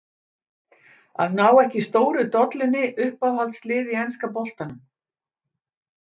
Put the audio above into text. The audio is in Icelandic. Að ná ekki stóru dollunni Uppáhaldslið í enska boltanum?